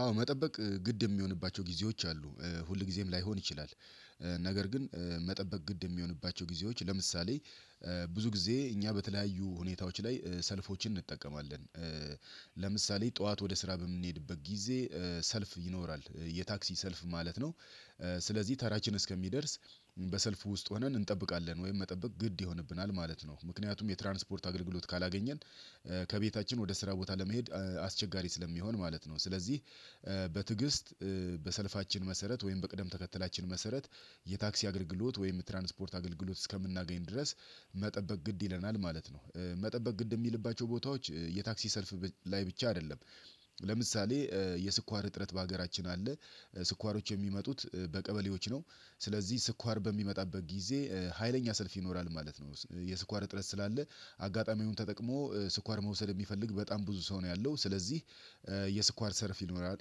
አዎ መጠበቅ ግድ የሚሆንባቸው ጊዜዎች አሉ ሁል ጊዜም ላይሆን ይችላል። ነገር ግን መጠበቅ ግድ የሚሆንባቸው ጊዜዎች ለምሳሌ ብዙ ጊዜ እኛ በተለያዩ ሁኔታዎች ላይ ሰልፎችን እንጠቀማለን። ለምሳሌ ጠዋት ወደ ስራ በምንሄድበት ጊዜ ሰልፍ ይኖራል የታክሲ ሰልፍ ማለት ነው። ስለዚህ ተራችን እስከሚደርስ በሰልፉ ውስጥ ሆነን እንጠብቃለን ወይም መጠበቅ ግድ ይሆንብናል ማለት ነው። ምክንያቱም የትራንስፖርት አገልግሎት ካላገኘን ከቤታችን ወደ ስራ ቦታ ለመሄድ አስቸጋሪ ስለሚሆን ማለት ነው። ስለዚህ በትዕግስት በሰልፋችን መሰረት ወይም በቅደም ተከተላችን መሰረት የታክሲ አገልግሎት ወይም ትራንስፖርት አገልግሎት እስከምናገኝ ድረስ መጠበቅ ግድ ይለናል ማለት ነው። መጠበቅ ግድ የሚልባቸው ቦታዎች የታክሲ ሰልፍ ላይ ብቻ አይደለም። ለምሳሌ የስኳር እጥረት በሀገራችን አለ። ስኳሮች የሚመጡት በቀበሌዎች ነው። ስለዚህ ስኳር በሚመጣበት ጊዜ ሀይለኛ ሰልፍ ይኖራል ማለት ነው። የስኳር እጥረት ስላለ አጋጣሚውን ተጠቅሞ ስኳር መውሰድ የሚፈልግ በጣም ብዙ ሰው ነው ያለው ስለዚህ። የስኳር ሰርፍ ይኖራል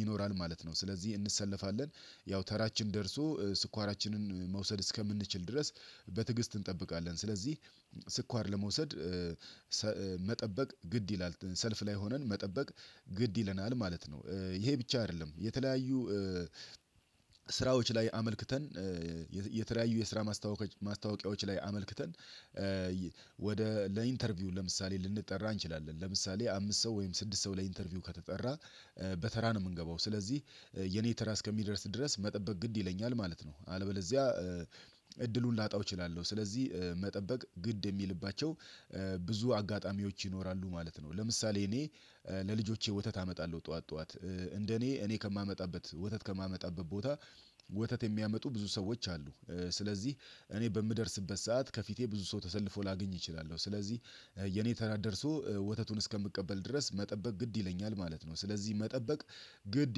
ይኖራል ማለት ነው ስለዚህ እንሰለፋለን። ያው ተራችን ደርሶ ስኳራችንን መውሰድ እስከምንችል ድረስ በትዕግስት እንጠብቃለን። ስለዚህ ስኳር ለመውሰድ መጠበቅ ግድ ይላል ሰልፍ ላይ ሆነን መጠበቅ ግድ ይለናል ማለት ነው። ይሄ ብቻ አይደለም የተለያዩ ስራዎች ላይ አመልክተን የተለያዩ የስራ ማስታወቂያዎች ላይ አመልክተን ወደ ለኢንተርቪው ለምሳሌ ልንጠራ እንችላለን ለምሳሌ አምስት ሰው ወይም ስድስት ሰው ለኢንተርቪው ከተጠራ በተራ ነው የምንገባው። ስለዚህ የኔ ተራ እስከሚደርስ ድረስ መጠበቅ ግድ ይለኛል ማለት ነው። አለበለዚያ እድሉን ላጣው እችላለሁ። ስለዚህ መጠበቅ ግድ የሚልባቸው ብዙ አጋጣሚዎች ይኖራሉ ማለት ነው። ለምሳሌ እኔ ለልጆቼ ወተት አመጣለሁ ጠዋት ጠዋት እንደ እኔ እኔ ከማመጣበት ወተት ከማመጣበት ቦታ ወተት የሚያመጡ ብዙ ሰዎች አሉ። ስለዚህ እኔ በምደርስበት ሰዓት ከፊቴ ብዙ ሰው ተሰልፎ ላገኝ እችላለሁ ስለዚህ የኔ ተራ ደርሶ ወተቱን እስከምቀበል ድረስ መጠበቅ ግድ ይለኛል ማለት ነው። ስለዚህ መጠበቅ ግድ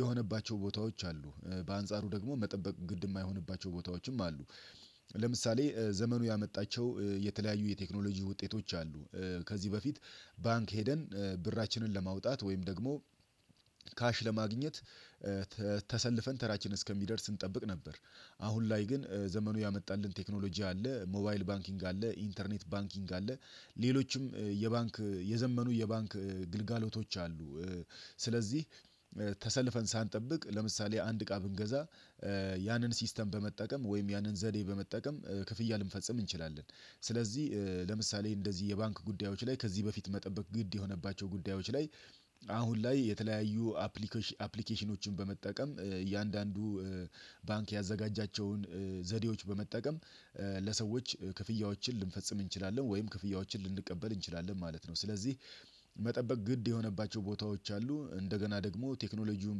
የሆነባቸው ቦታዎች አሉ በአንጻሩ ደግሞ መጠበቅ ግድ የማይሆንባቸው ቦታዎችም አሉ። ለምሳሌ ዘመኑ ያመጣቸው የተለያዩ የቴክኖሎጂ ውጤቶች አሉ። ከዚህ በፊት ባንክ ሄደን ብራችንን ለማውጣት ወይም ደግሞ ካሽ ለማግኘት ተሰልፈን ተራችን እስከሚደርስ እንጠብቅ ነበር። አሁን ላይ ግን ዘመኑ ያመጣልን ቴክኖሎጂ አለ ሞባይል ባንኪንግ አለ ኢንተርኔት ባንኪንግ አለ። ሌሎችም የባንክ የዘመኑ የባንክ ግልጋሎቶች አሉ። ስለዚህ ተሰልፈን ሳንጠብቅ ለምሳሌ አንድ እቃ ብንገዛ ያንን ሲስተም በመጠቀም ወይም ያንን ዘዴ በመጠቀም ክፍያ ልንፈጽም እንችላለን። ስለዚህ ለምሳሌ እንደዚህ የባንክ ጉዳዮች ላይ ከዚህ በፊት መጠበቅ ግድ የሆነባቸው ጉዳዮች ላይ አሁን ላይ የተለያዩ አፕሊኬሽኖችን በመጠቀም እያንዳንዱ ባንክ ያዘጋጃቸውን ዘዴዎች በመጠቀም ለሰዎች ክፍያዎችን ልንፈጽም እንችላለን ወይም ክፍያዎችን ልንቀበል እንችላለን ማለት ነው። ስለዚህ መጠበቅ ግድ የሆነባቸው ቦታዎች አሉ። እንደገና ደግሞ ቴክኖሎጂውን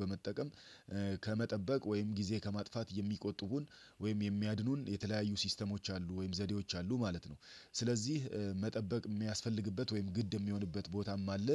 በመጠቀም ከመጠበቅ ወይም ጊዜ ከማጥፋት የሚቆጥቡን ወይም የሚያድኑን የተለያዩ ሲስተሞች አሉ ወይም ዘዴዎች አሉ ማለት ነው። ስለዚህ መጠበቅ የሚያስፈልግበት ወይም ግድ የሚሆንበት ቦታም አለ